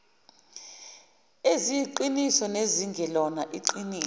eziyiqiniso nezingelona iqiniso